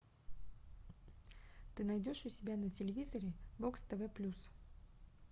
ты найдешь у себя на телевизоре бокс тв плюс